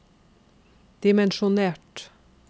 dimensjonert